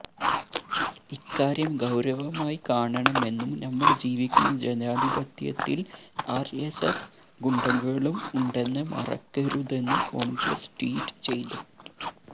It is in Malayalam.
ഇക്കാര്യം ഗൌരവമായി കാണണമെന്നും നമ്മള് ജീവിക്കുന്ന ജനാധിപത്യത്തില് ആര്എസ്എസ് ഗുണ്ടകളും ഉണ്ടെന്ന മറക്കരുതെന്ന് കോണ്ഗ്രസ് ട്വീറ്റ് ചെയ്തു